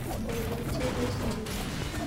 Boiboji eng sobet ngung